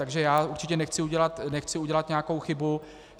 Takže já určitě nechci udělat nějakou chybu.